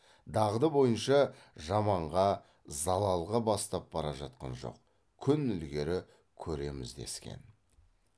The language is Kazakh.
дағды бойынша жаманға залалға бастап бара жатқан жоқ күн ілгері көреміз дескен